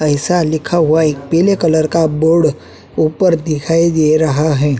एैसा लिखा हुआ एक पीले कलर का बोर्ड ऊपर दिखाई दे रहा है।